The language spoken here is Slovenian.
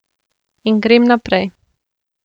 In grem naprej.